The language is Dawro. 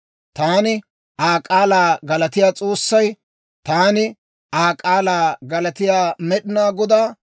Taani Aa k'aalaa galatiyaa S'oossay, taani Aa k'aalaa galatiyaa Med'inaa Godaa,